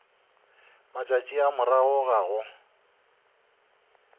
matšatši a morago ga go